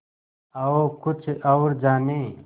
आओ कुछ और जानें